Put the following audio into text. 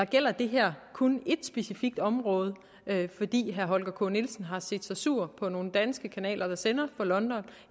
gælder det her kun et specifikt område fordi herre holger k nielsen har set sig sur på nogle danske kanaler der sender fra london